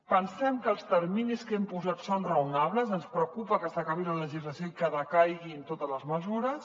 pensem que els terminis que hi hem posat són raonables ens preocupa que s’acabi la legislació i que decaiguin totes les mesures